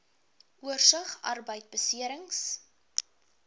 oorsig arbeidbeserings